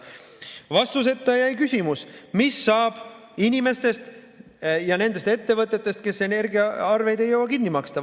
Vastuseta jäi küsimus, mis saab inimestest ja nendest ettevõtetest, kes vahepeal energiaarveid ei jõua kinni maksta.